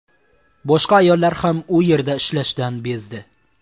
Boshqa ayollar ham u yerda ishlashdan bezdi.